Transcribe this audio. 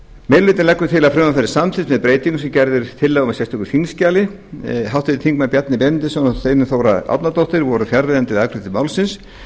meiri hlutinn leggur til að frumvarpið verði samþykkt með breytingum sem gerð er tillaga um í sérstöku þingskjali háttvirtur þingmaður bjarni benediktsson og steinunn þóra árnadóttir voru fjarverandi við afgreiðslu málsins